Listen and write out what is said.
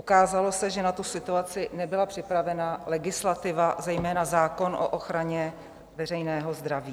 Ukázalo se, že na tu situaci nebyla připravena legislativa, zejména zákon o ochraně veřejného zdraví.